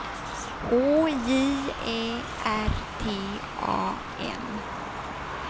H J Ä R T A N